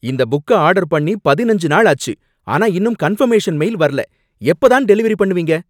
இந்த புக்க ஆர்டர் பண்ணி பதினஞ்சு நாள் ஆச்சு, ஆனா இன்னும் கன்ஃபர்மேஷன் மெயில் வரல. எப்ப தான் டெலிவெரி பண்ணுவீங்க?